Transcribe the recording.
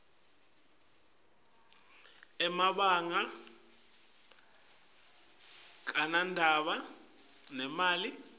emabanga akanadzaba netimali